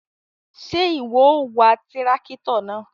Ṣe iwọ o wá tìràkitọ náà?